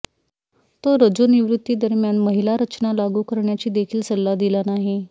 तो रजोनिवृत्ती दरम्यान महिला रचना लागू करण्याची देखील सल्ला दिला नाही